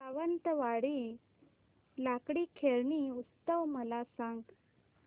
सावंतवाडी लाकडी खेळणी उत्सव मला सांग